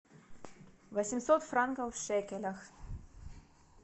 восемьсот франков в шекелях